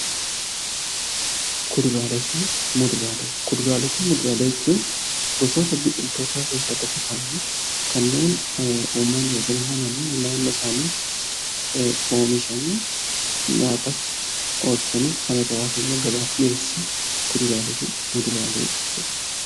Kuduraalee fi muduraalee jechuun gosoota biqiltootaa keessaa tokko ta'anii kanneen uummanni yookaan namoonni naannoo isaanii oomishanii nyaataaf oolchanii kan irraa hafemmoo gabaaf dhiyeessanidha.